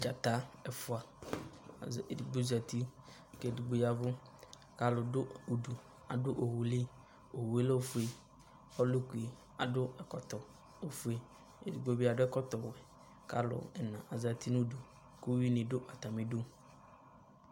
Dzata ɛfʋa, edigbo zati kʋ edigbo ya ɛvʋ, kʋ alʋ dʋ udu, adʋ owu li, owu yɛ lɛ ofue, ɔlʋkli adʋ ɛkɔtɔ ofue, edigbo bɩ adʋ ɛkɔtɔ wɛ, kʋ alʋ ɛna azati nʋ udu, kʋ uyuinɩ dʋ atamɩ idu